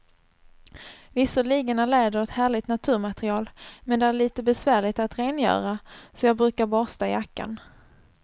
Visserligen är läder ett härligt naturmaterial, men det är lite besvärligt att rengöra, så jag brukar borsta jackan.